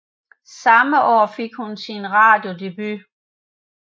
Samme år fik hun sin radiodebut